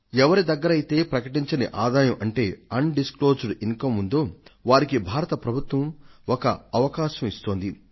ఎవరి దగ్గరైతే బహిరంగపరచని ఆదాయం అంటే undisclosed income ఉందో వారికి భారత ప్రభుత్వం ఒక అవకాశాన్ని ఇస్తోంది